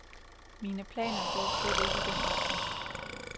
Mine planer går slet ikke i den retning.